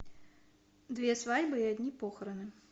две свадьбы и одни похороны